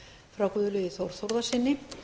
frá guðlaugi þór þórðarsyni